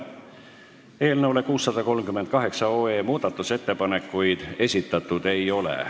Eelnõu 638 kohta muudatusettepanekuid esitatud ei ole.